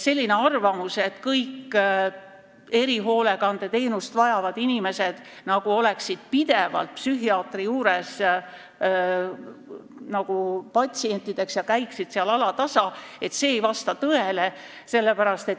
Selline arvamus, et kõik erihoolekandeteenust vajavad inimesed peaksid olema pidevalt psühhiaatri patsientideks ja peaksid alatasa psühhiaatri juures käima, ei vasta tõele.